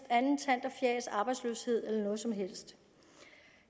andet tant og fjas arbejdsløshed eller noget som helst